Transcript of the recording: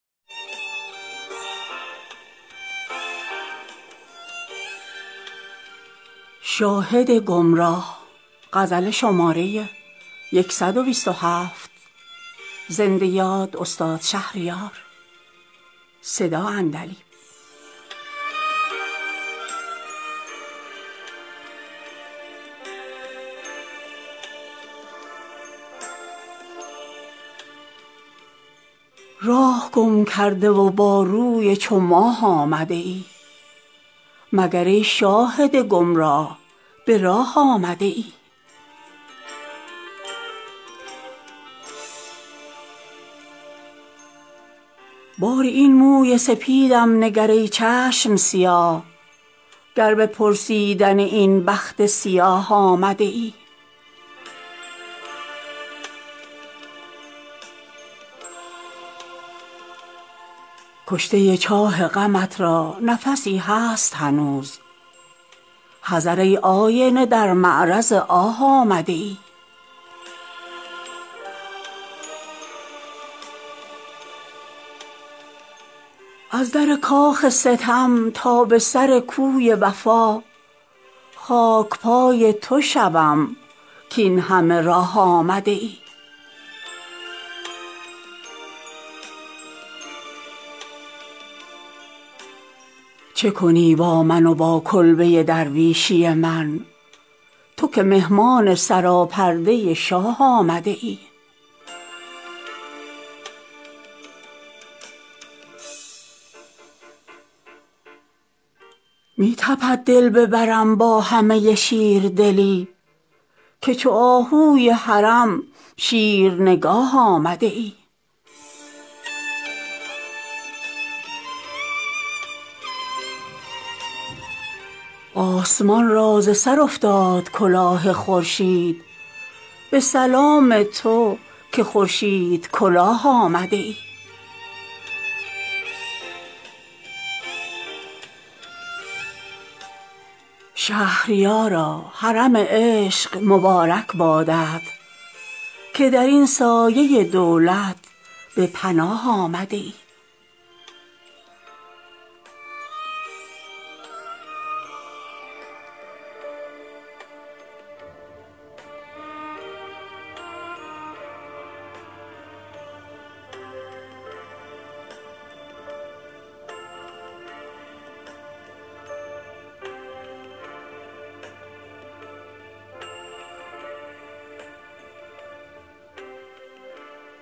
راه گم کرده و با روی چو ماه آمده ای مگر ای شاهد گمراه به راه آمده ای باری این موی سپیدم نگر ای چشم سیاه گر به پرسیدن این بخت سیاه آمده ای محنت چاه محاقم ننماید جانکاه تا تو چون ماه نوام بر لب چاه آمده ای کشته چاه غمت را نفسی هست هنوز حذر ای آینه در معرض آه آمده ای از در کاخ ستم تا به سر کوی وفا خاک پای تو شوم کاین همه راه آمده ای چه کنی با من و با کلبه درویشی من تو که مهمان سراپرده شاه آمده ای می تپد دل به برم با همه شیر دلی که چو آهوی حرم شیرنگاه آمده ای آسمان را ز سر افتاد کلاه خورشید به سلام تو که خورشید کلاه آمده ای از گناهی که رود با تو در اسلام چه باک که تو ترسا بچه خود عذر گناه آمده ای شهریارا حرم عشق مبارک بادت که در این سایه دولت به پناه آمده ای